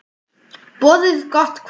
Boðið gott kvöld.